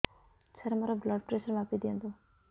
ସାର ମୋର blood pressure ମାପି ଦିଅନ୍ତୁ